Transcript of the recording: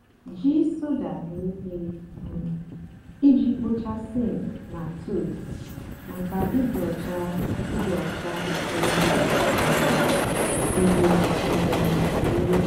jí soda mée íhè um íjì kpochaa sink nà tubs mákà ịdị ọcha ịdị ọcha éké mà um dị um ìrè.